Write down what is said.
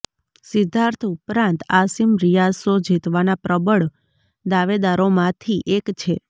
સિદ્ધાર્થ ઉપરાંત આસિમ રિયાઝ શો જીતવાના પ્રબળ દાવેદારોમાંથી એક છે